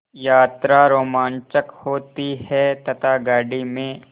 यात्रा रोमांचक होती है तथा गाड़ी में